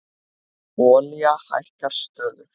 Olía hækkar stöðugt